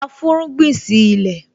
A fúnrúgbìn sí ilẹ̀